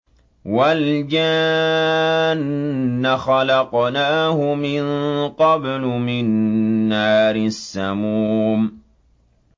وَالْجَانَّ خَلَقْنَاهُ مِن قَبْلُ مِن نَّارِ السَّمُومِ